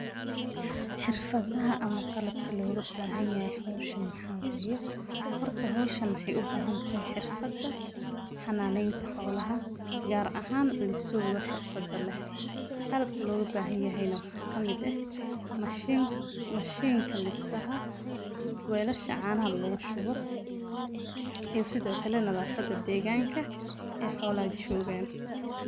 Xirfad laha ama qalabka loga bahan yahay howshan maxa waye horta howshan waxay u bahan tahay xirfada xananeyta xoola gar ahan liisiwga xirfada leh, qalabka loga bahan yahay waxa kamid eh mashinka lisaha, weelasha caanaha lugu shubo iyo sidokale nadaafada deegganka ay xoolaha joogan